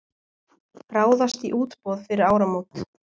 Ráðast í útboð fyrir áramót